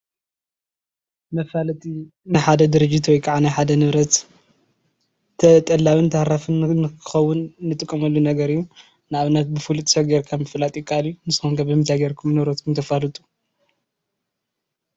መፋለጢ ናይ ሓደ ድርጅት ወይ ከዓ ናይ ሓደ ንብረት ተጠላብን ተሃራፍን ንክከዉን ንጥቀመሉ ነገር እዩ ንኣብነት ብፍሉጥ ሰብ ጌርካ ምፍላጥ ይከኣል እዩ ንስኩም ከ ብምንታይ ጌርኩም ንብረትኩም ተፋልጡ ?